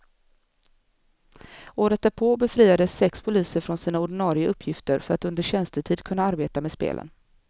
Året därpå befriades sex poliser från sina ordinare uppgifter för att under tjänstetid kunna arbeta med spelen.